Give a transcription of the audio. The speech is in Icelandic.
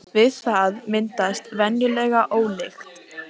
Heildarfjöldi stjarna í heiminum er hins vegar miklu meiri.